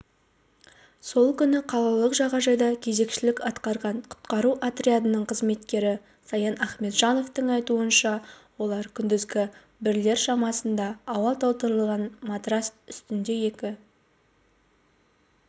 сол күні қалалық жағажайда кезекшілік атқарған құтқару отрядының қызметкері саян ахметжановтың айтуынша олар күндізгі сағат бірлер шамасында ауа толтырылған матрас үстіндеекі